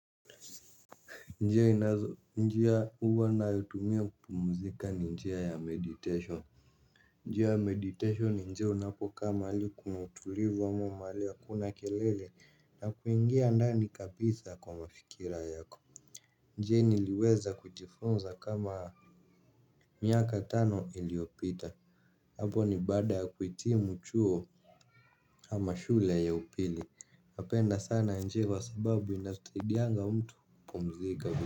Njia inazo, njia huwa ninayoitumia kupumzika ni njia ya meditation. Njia ya meditation ni njia unapokaa mahali kuna utulivu ama mahali hakuna kelele na kuingia ndani kabisa kwa mafikira yako. Njia niliweza kujifunza kama miaka tano iliyopita hapo ni baada ya kuhitimu chuo ama shule ya upili napenda sana njia kwasababu inasaidianga mtu kupumzika.